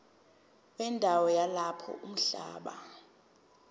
wendawo yalapho umhlaba